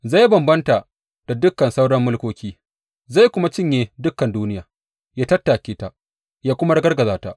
Zai bambanta da dukan sauran mulkoki, zai kuma cinye dukan duniya, yă tattake ta, yă kuma ragargaje ta.